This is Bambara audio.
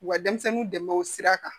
U ka denmisɛnninw dɛmɛ o sira kan